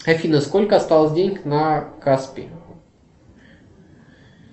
афина сколько осталось денег на каспи